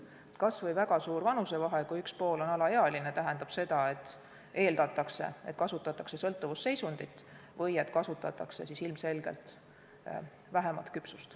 Kas või siis, kui on väga suur vanusevahe, kui üks pool on alaealine, see tähendab seda, et eeldatakse, et kasutatakse ära sõltuvusseisundit või ilmselgelt nappi küpsust.